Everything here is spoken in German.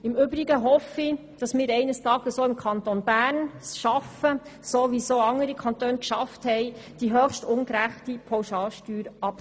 Im Übrigen hoffe ich, dass wir es eines Tages auch im Kanton Bern schaffen – so wie es auch andere Kantone geschafft haben –, die höchst ungerechte Pauschalbesteuerung abzuschaffen.